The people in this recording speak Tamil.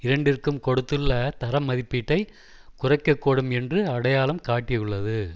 இரண்டிற்கும் கொடுத்துள்ள தரமதிப்பீட்டை குறைக்கக்கூடும் என்று அடையாளம் காட்டியுள்ளது